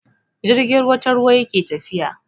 Jirgin ruwa ta ruwa yake tafiya.